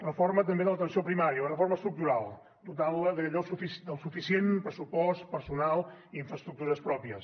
reforma també de l’atenció primària una reforma estructural dotant la del suficient pressupost personal i infraestructures pròpies